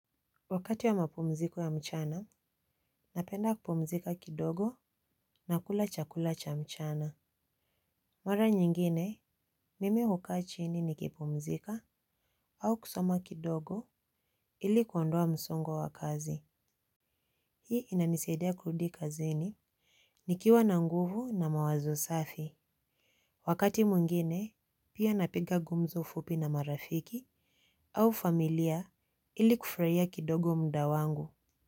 Wakati wa mapumziko ya mchana, napenda kupumzika kidogo na kula chakula cha mchana. Mara nyingine, mimi hukaa chini ni kipumzika au kusoma kidogo ili kuondoa msongo wa kazi. Hii inanisaidia kurudi kazini. Nikiwa na nguvu na mawazo safi. Wakati mwingine, pia napiga gumzo fupi na marafiki au familia ili kufurahia kidogo muda wangu.